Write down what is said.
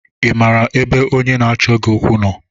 Ị maara ebe onye na-achọ gị okwu nọ?